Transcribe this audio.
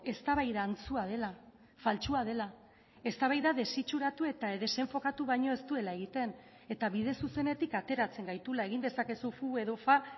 eztabaida antzua dela faltsua dela eztabaida desitxuratu eta desenfokatu baino ez duela egiten eta bide zuzenetik ateratzen gaituela egin dezakezu fu edo fa